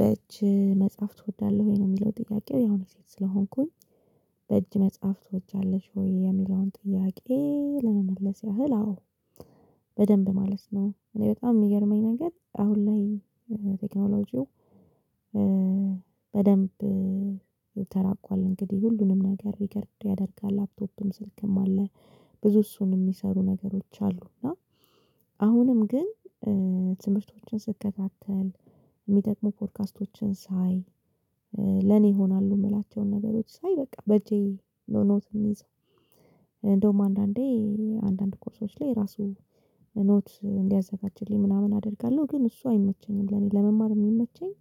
በእጅ መጻፍ ትወዳለህ ወይ? ነው የሚለው ጥያቄው ያው እኔ ስለሆንኩኝ። በእጅ መጻፍ ትወጃለሽ ወይ የሚለውን ጥያቄ ለመመለስ ያህል አዎ። በደንብ ማለት ነው እኔ በጣም የሚገርመኝ ነገር አሁን ላይ። ቴክኖሎጂው በደንብ ተራቋል እንግዲህ ሁሉንም ነገር ሪከርድ ያደርጋል ላፕቶፕም ስልክም አለ። ብዙ እሱን የሚሰሩ ነገሮች አሉ። እና አሁንም ግን ትምህርቶችን ስከታተል የሚጠቅሙ ፖድካስቶችን ሳይ ለኔ ይሆናሉ። የምላቸውን ነገሮች ሳይ በቃ በእጄ ነው ኖት የምይዘው። አንዳንዴ አንዳንድ ኮርሶች ላይ ራሱ ኖት እንዲያዘጋጅልኝ ምናምን አደርጋለሁ። ግን እሱ አይመቸኝም። ለኔ ለመማር የሚመቸኝ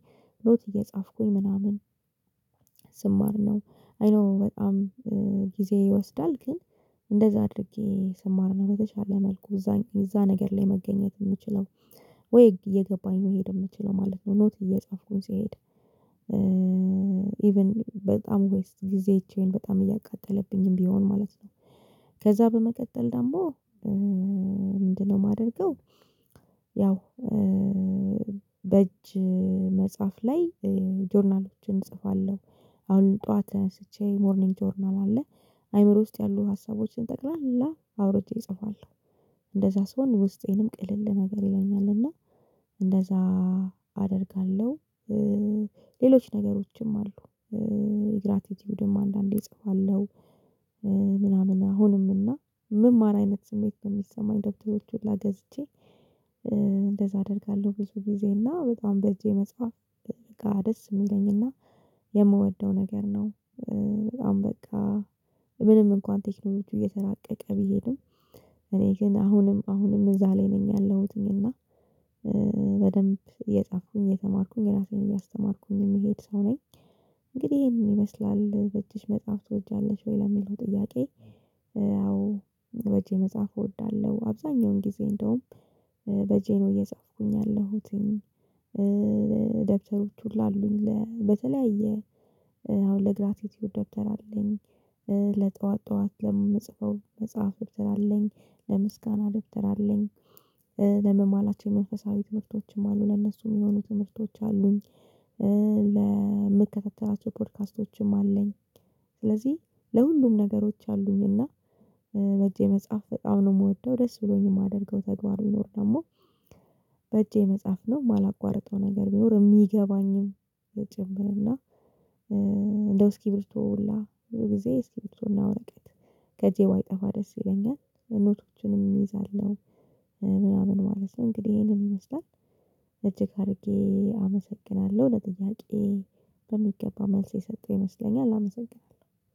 ኖት እየጻፍኩኝ ምናምን ስማር ነው። አይ ዶኖው በጣም ጊዜ ይወስዳል ግን እንደዛ አድርጌ ስማር ነው። በተሻለ መልኩ እዛ ነገር ላይ መገኘት የምችለው ወይ እየገባኝ መሄድ የምችለው ማለት ነው። ኖት እየጻፍኩኝ ስሄድ ኢቭን በጣም ዌስት ጊዜችን በጣም እያቃጠለብኝም ቢሆን ማለት ነው። ከዛ በመቀጠል ደግሞ ምንድነው የማደርገው? ያው በእጅ መጻፍ ላይ ጆርናሎችን እጽፋለሁ አሁን ጠዋት ተነስቼ ሞርኒንግ ጆርናል አለ አእምሮ ውስጥ ያሉ ሀሳቦችን ጠቅላላ አውርጄ እጽፋለሁ። እንደዛ ስሆን ውስጤንም ቅልል ነገር ይለኛል። እና እንደዛ አደርጋለሁ። ሌሎች ነገሮችም አሉ። ግራቲቲውድም አንዳንዴ እጽፋለሁ። ምናምን አሁንም እና የምማር አይነት ስሜት ነው የሚሰማኝ ደብተሮች ሁላ ገዝቼ እንደዛ አደርጋለሁ። ብዙ ጊዜ እና በጣም በእጄ መጻፍ በጣም ደስ የሚለኝ እና የምወደው ነገር ነው። በጣም በቃ ምንም እንኳን ቴክኖሎጂው እየተራቀቀ ቢሄድም እኔ ግን አሁንም አሁንም እዛ ላይ ነኝ ያለሁትኝ እና በደንብ እየጻፍኩኝ እየተማርኩኝ ራሴን እያስተማርኩኝ የሚሄድ ሰው ነኝ። እንግዲህ ይሄንን ይመስላል በእጅሽ መጻፍ ትወጃለሽ ወይ? ለሚለው ጥያቄ በእጄ መጻፍ እወዳለሁ። አብዛኛውን ጊዜ እንደውም በእጄ ነው እየጻፍኩኝ ያለሁት። ደብተሮች ሁላ አሉኝ በተለያየ አሁን ለግራቲቲውድ ደብተር አለኝ። ለጠዋት ጠዋት ለምጽፈው መጽሐፍ ደብተር አለኝ። ለምስጋና ደብተር አለኝ። ደግሞ መሃላችን መንፈሳዊ ትምህርቶችም አሉ ለእነሱ የሚሆኑ ትምህርቶች አሉኝ። ለምከታተላቸው ፖድካስቶችም አለኝ። ስለዚህ ለሁሉም ነገሮች አሉኝ እና በእጄ መጻፍ በጣም ነው የምወደው። ደስ ብሎኝ የማደርገው ተግባርም ደግሞ በእጄ መጻፍ ነው የማላቋርጠው ነገር ቢኖር። የሚገባኝም ጭምር እና እንደ እስኪቢርቶ ሁላ ብዙ ጊዜ እስኪቢርቶና ወረቀት ከእጄ ባይጠፋ ደስ ይለኛል። ኖቶችንም እይዛለሁ ምናምን ማለት ነው። እንግዲህ ይሄንን ይመስላል። እጅግ አድርጌ አመሰግናለሁ ለጥያቄ በሚገባ መልስ የሰጠው ይመስለኛል አመሰግናለሁ